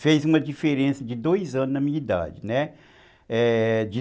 fez uma diferença de dois anos na minha idade, né... É...